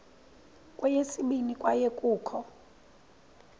kweyesibini kwaye kukho